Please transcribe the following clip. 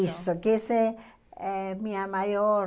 Isso, que essa é é a minha maior...